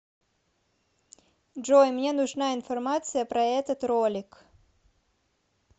джой мне нужна информация про этот ролик